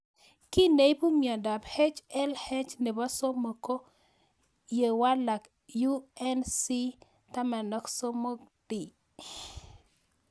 Kiy neipu miondop HLH nepo somok ko ye walak UNC13D